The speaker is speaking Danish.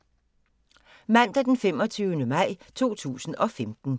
Mandag d. 25. maj 2015